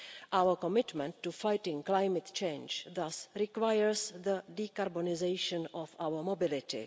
Our commitment to fighting climate change thus requires the decarbonisation of our mobility.